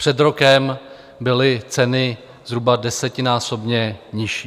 Před rokem byly ceny zhruba desetinásobně nižší.